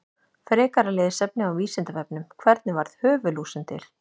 Frekara lesefni á Vísindavefnum: Hvernig varð höfuðlúsin til?